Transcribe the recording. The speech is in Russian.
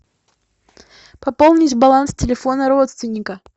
пополнить баланс телефона родственника